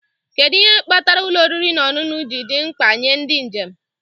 Kedu ihe kpatara ụlọ oriri na ọṅụṅụ ji dị mkpa nye ndị njem?